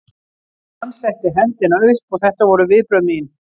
Hann setti hendina upp og þetta voru viðbrögð mín.